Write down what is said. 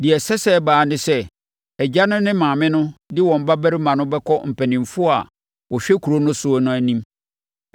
deɛ ɛsɛ sɛ ɛba ara ne sɛ, agya no ne maame no de wɔn babarima no bɛkɔ mpanimfoɔ a wɔhwɛ kuro no so no anim.